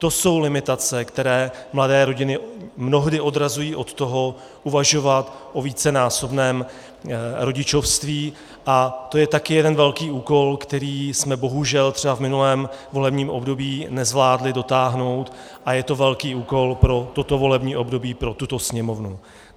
To jsou limitace, které mladé rodiny mnohdy odrazují od toho uvažovat o vícenásobném rodičovství, a to je také jeden velký úkol, který jsme bohužel třeba v minulém volebním období nezvládli dotáhnout, a je to velký úkol pro toto volební období, pro tuto Sněmovnu.